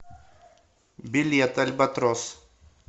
билет альбатрос